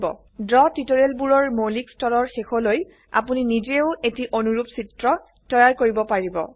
draw টিউটোৰিয়েলবোৰৰ মৌলিক স্তৰৰ শেষলৈ আপোনি নিজেইও এটি অনুৰুপ চিত্ৰ তৈয়াৰ কৰিব পাৰিব